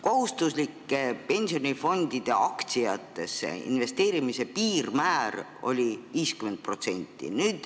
Kohustuslike pensionifondide aktsiatesse investeerimise piirmäär oli 50%.